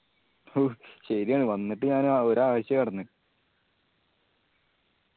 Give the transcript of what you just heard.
who ശെരിയാണ് വന്നിട്ട് ഞാൻ ആ ഒരു ആഴ്ചയാ കെടന്നേ